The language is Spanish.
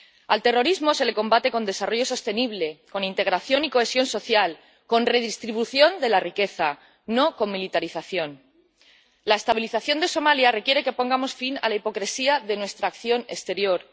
Al terrorismo se le combate con desarrollo sostenible, con integración y cohesión social, con redistribución de la riqueza, no con militarización. La estabilización de Somalia requiere que pongamos fin a la hipocresía de nuestra acción exterior.